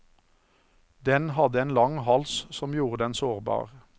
Den hadde en lang hals som gjorde den sårbar.